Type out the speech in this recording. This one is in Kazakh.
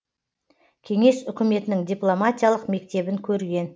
кеңес үкіметінің дипломатиялық мектебін көрген